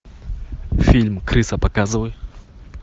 фильм крыса показывай